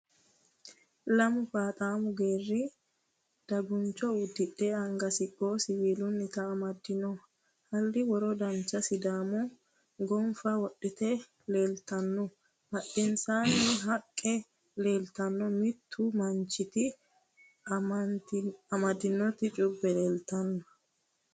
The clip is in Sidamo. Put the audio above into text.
Lamu faaxaammu geeri daguncho. uddidhe anga siqqo siwiilunnita amaddino. halli worora dancha sidaamu gonfa wodhite leeltanno. badhensaanni haqqe leeltanno. mittu manchiti amandotti cuubeno leeltanno.